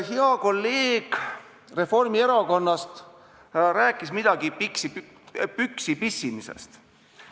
Hea kolleeg Reformierakonnast rääkis midagi püksi pissimisest.